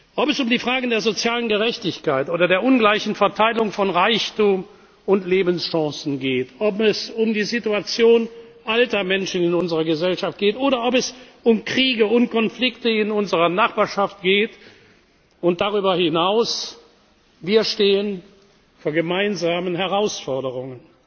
Schutz. Ob es um die Fragen der sozialen Gerechtigkeit oder der ungleichen Verteilung von Reichtum und Lebenschancen geht, ob es um die Situation alter Menschen in unserer Gesellschaft geht, oder ob es um Kriege und Konflikte in unserer Nachbarschaft geht und darüber hinaus Wir stehen vor gemeinsamen Herausforderungen.